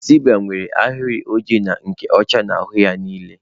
Zebra nwere ahịrị oji na nke ọcha n'ahụ ya niile